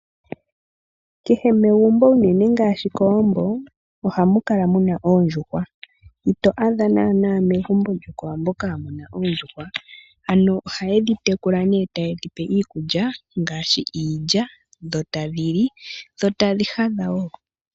Kehe megumbo unene ngaashi kowambo ohamu kala muna oondjuhwa. Ito adha naanaa megumbo lyokowambo kaamuna oondjuhwa. Ano ohaye dhi tekula nee taye dhipe iikulya ngaashi iilya dho tadhi li dho tadhi hadha wo.